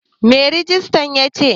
Me rijistran yace?